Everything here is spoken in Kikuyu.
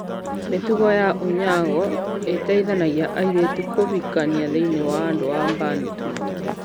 Mĩtugo ya unyago ĩteithanagia airĩtu kũhikania thĩinĩ wa andũ a Bantu.